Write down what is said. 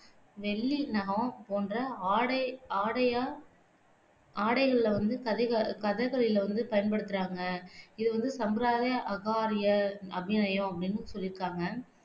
வெள்ளி நகம் போன்ற ஆடை ஆடையா ஆடைகளில வந்து சதிக கதகளியில வந்து பயன்படுத்துறாங்க இது வந்து சம்பிரதாய அஹார்ய அபிநயம் அப்படின்னும் சொல்லிருக்காங்க